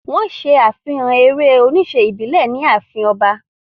Wọ́n ṣe àfihàn eré-oníṣe ìbílẹ̀ ní ààfin ọba.